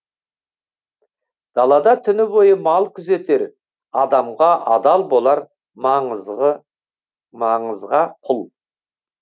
далада түні бойы мал күзетер адамға адал болар маңызға құл